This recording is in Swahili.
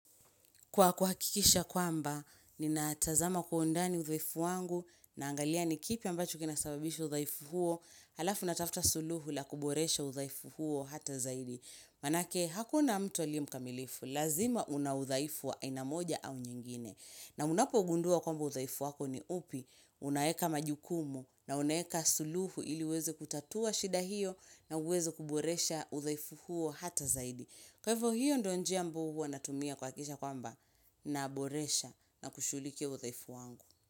Kwa kuhakikisha kwamba, ni natazama kwa undani udhaifu wangu na angalia ni kipi ambacho kinasababisha udhaifu huo, halafu natafta suluhu la kuboresha udhaifu huo hata zaidi. Manake, hakuna mtu aliyemkamilifu, lazima una udhaifu wa aina moja au nyingine. Na unapo gundua kwamba udhaifu wako ni upi, unaeka majukumu na unaeka suluhu ili weze kutatua shida hiyo na uweze kuboresha udhaifu huo hata zaidi. Kwa hivyo hiyo ndio njia ambao huwa na tumia kwa kisha kwamba naboresha na kushughulikia udhaifu wangu.